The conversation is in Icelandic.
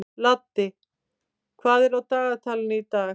Laddi, hvað er á dagatalinu í dag?